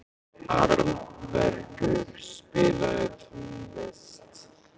Arnbergur, spilaðu tónlist.